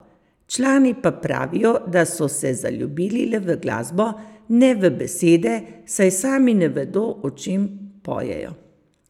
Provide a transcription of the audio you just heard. Člani pa pravijo, da so se zaljubili le v glasbo, ne v besede, saj sami ne vedo, o čem pojejo.